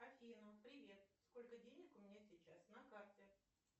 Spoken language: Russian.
афина привет сколько денег у меня сейчас на карте